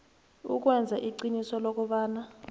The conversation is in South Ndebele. ukwenza iqiniso lokobana